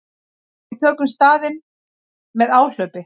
Við tökum staðinn með áhlaupi.